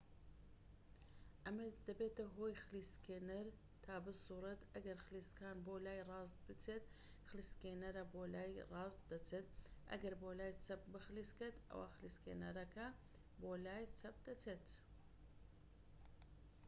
ئەمە دەبێتە هۆی خلیسکێنەر تا بسووڕێت ئەگەر خلیسکان بۆ لای ڕاست بچێت خلیسکێنەرە بۆ لای ڕاست دەچێت ئەگەر بۆ لای چەپ بخلیسکێت ئەوە خلیسکێنەرەکە بۆ لای چەپ دەچێت